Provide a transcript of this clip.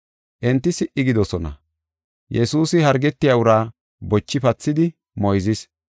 Enti si77i gidoosona. Yesuusi hargetiya uraa bochi pathidi moyzis.